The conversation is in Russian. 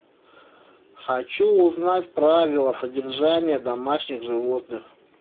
хочу узнать правила содержания домашних животных